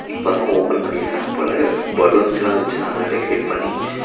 இப்பதா ஓப்பன் பண்ணிருக்காங்க போல பலூன்ஸ்லா வெச்சு நல்லா டெக்கரேட் பண்ணி--